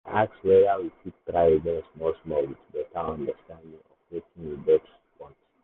i ask whether we fit try again small-small with better understanding of wetin we both want.